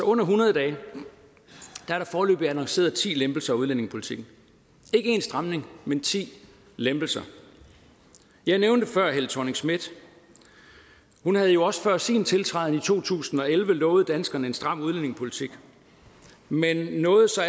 under hundrede dage er der foreløbig annonceret ti lempelser af udlændingepolitikken ikke én stramning men ti lempelser jeg nævnte før helle thorning schmidt hun havde også før sin tiltræden i to tusind og elleve lovet danskerne en stram udlændingepolitik men nåede så